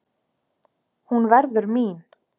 Hún verður mín.